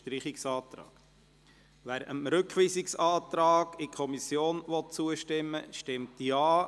Wer dem Antrag auf Rückweisung in die Kommission zustimmen will, stimmt Ja,